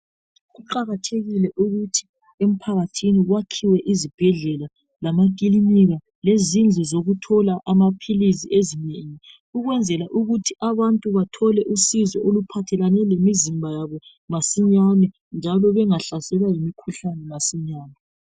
Kuqakathekile ukuthi empakathini kwakhiwe izibhedlela lamakilinika lezindlu zokuthola amaphilisi ezinengi ukwenzela ukuthi abantu bathole usizo oluphathekane lemizimba yabo masinyane njalo bengahlaselwa ngemikhuhlane masinya.